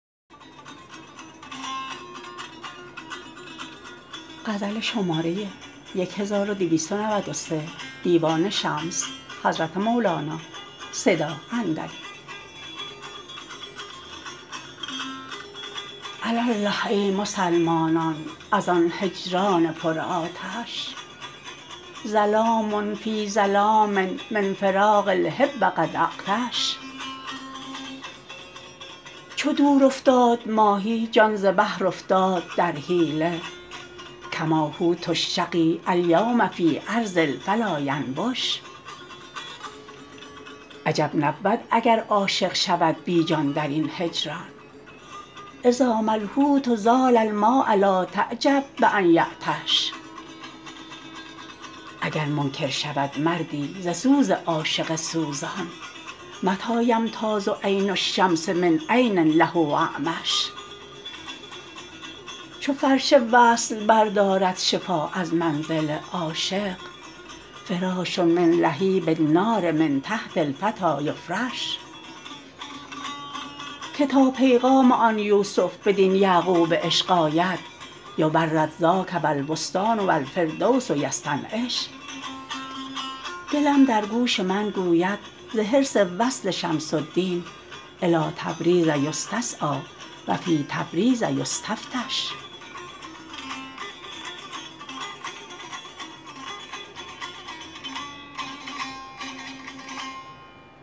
علی الله ای مسلمانان از آن هجران پرآتش ظلام فی ظلام من فراق الحب قد اغطش چو دور افتاد ماهی جان ز بحر افتاد در حیله کما حوت الشقی الیوم فی ارض الفلاینبش عجب نبود اگر عاشق شود بی جان در این هجران اذا ما الحوت زال الماء لا تعجب بان تعطش اگر منکر شود مردی ز سوز عاشق سوزان متی یمتاز عین الشمس من عین له اعمش چو فرش وصل بردارد شفا از منزل عاشق فراش من لهیب النار من تحت الفتی یفرش که تا پیغام آن یوسف بدین یعقوب عشق آید یبرد ذاک و البستان و الفردوس یستنعش دلم در گوش من گوید ز حرص وصل شمس الدین الی تبریز یستسعی و فی تبریز یستفتش